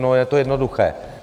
No je to jednoduché.